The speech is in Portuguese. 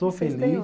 Estou feliz.